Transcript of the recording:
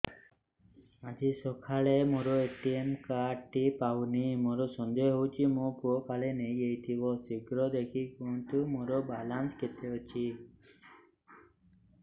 ଆଜି ସକାଳେ ମୋର ଏ.ଟି.ଏମ୍ କାର୍ଡ ଟି ପାଉନି ମୋର ସନ୍ଦେହ ହଉଚି ମୋ ପୁଅ କାଳେ ନେଇଯାଇଥିବ ଶୀଘ୍ର ଦେଖି କୁହନ୍ତୁ ମୋର ବାଲାନ୍ସ କେତେ ଅଛି